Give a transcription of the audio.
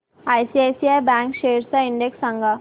ICICI bank shares चा index सांगा